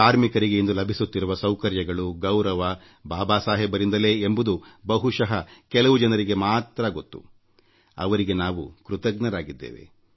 ಕಾರ್ಮಿಕರಿಗೆ ಇಂದು ಲಭಿಸುತ್ತಿರುವ ಸೌಕರ್ಯಗಳು ಗೌರವ ಬಾಬಾ ಸಾಹೇಬರಿಂದ ಎಂಬುದು ಬಹುಶಃ ಕೆಲವು ಜನರಿಗೆ ಮಾತ್ರ ಗೊತ್ತು ಅವರಿಗೆ ನಾವು ಕೃತಜ್ಞರಾಗಿದ್ದೇವೆ